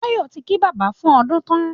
Tayọ ti kí bàbá fún ọdun tán